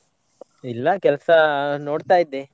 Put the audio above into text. ಇಲ್ಲ ಕೆಲ್ಸ ನೋಡ್ತಾ ಇದ್ದೆ.